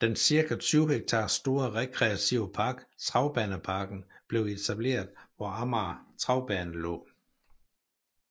Den cirka 20 hektar store rekreative park Travbaneparken blev etableret hvor Amager Travbane lå